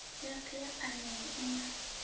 yothe ya phanele i na